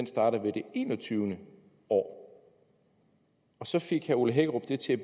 starter ved det enogtyvende år og så fik herre ole hækkerup det til at